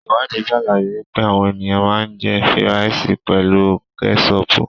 Iwadii sàlàyé wípé àwọn ènìyàn ma ń jẹ́ fíràìsì pelu kẹ́sọpù.